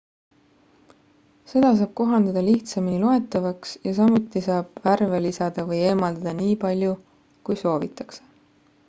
seda saab kohandada lihtsamini loetavamaks ja samuti saab värve lisada või eemaldada nii palju kui soovitakse